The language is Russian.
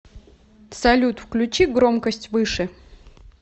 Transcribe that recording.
салют включи громкость выше